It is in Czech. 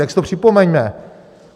Tak si to připomeňme.